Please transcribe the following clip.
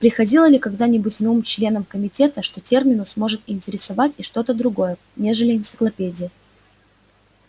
приходило ли когда-нибудь на ум членам комитета что терминус может интересовать и что-то другое нежели энциклопедия